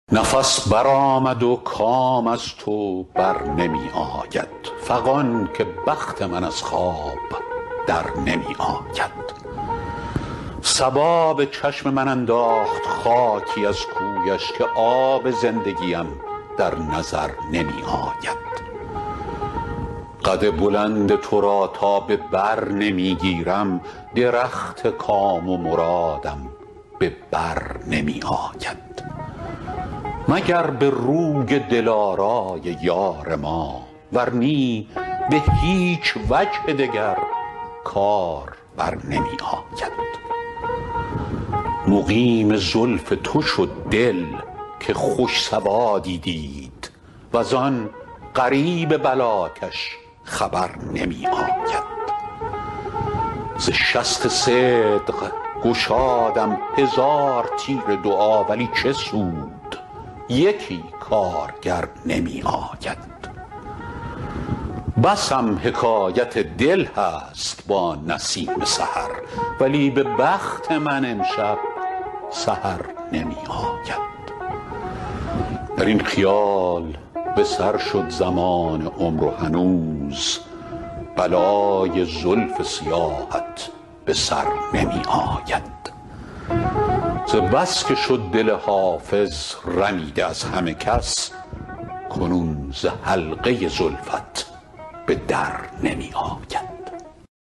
نفس برآمد و کام از تو بر نمی آید فغان که بخت من از خواب در نمی آید صبا به چشم من انداخت خاکی از کویش که آب زندگیم در نظر نمی آید قد بلند تو را تا به بر نمی گیرم درخت کام و مرادم به بر نمی آید مگر به روی دلارای یار ما ور نی به هیچ وجه دگر کار بر نمی آید مقیم زلف تو شد دل که خوش سوادی دید وز آن غریب بلاکش خبر نمی آید ز شست صدق گشادم هزار تیر دعا ولی چه سود یکی کارگر نمی آید بسم حکایت دل هست با نسیم سحر ولی به بخت من امشب سحر نمی آید در این خیال به سر شد زمان عمر و هنوز بلای زلف سیاهت به سر نمی آید ز بس که شد دل حافظ رمیده از همه کس کنون ز حلقه زلفت به در نمی آید